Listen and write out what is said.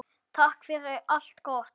Takk fyrir allt gott.